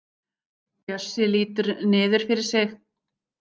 Bjössi lítur niður fyrir sig.